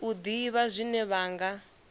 u ḓivha zwine vha nga